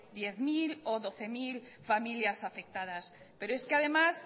diez mil o doce mil familias afectadas pero es que además